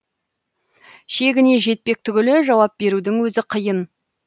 шегіне жетпек түгілі жауап берудің өзі қиын